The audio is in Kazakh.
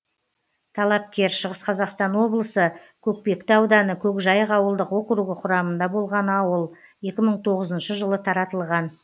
талапкер шығыс қазақстан облысы көкпекті ауданы көкжайық ауылдық округі құрамында болған ауыл екі мың тоғызыншы жылы таратылған